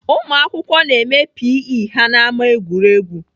Ụmụakwụkwọ na-eme P. E ha n'ámá egwuregwu.